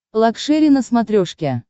лакшери на смотрешке